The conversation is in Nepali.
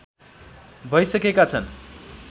भइसकेका छन्